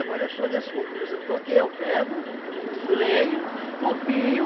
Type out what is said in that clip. eu sou desse compositor que eu pego, leio, copio,